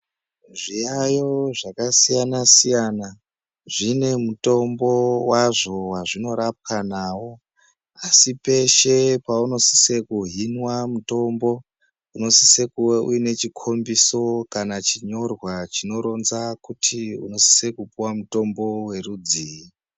Zviyayo zvakasiyanasiyana zvine mutombo wazvo wazvinorapwa nawo asi peshe pauno sise kuhinwa mutombo unosise kuwa une chikombiso kana chinyorwa chinoronza kuti unosisa kupuwa mutombo werudzii.